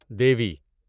دیوی